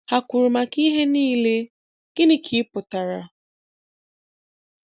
Ha kwụrụ maka ihe niile, gịnị ka ị pụtara?